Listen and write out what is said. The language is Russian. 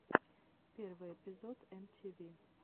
первый эпизод эм ти ви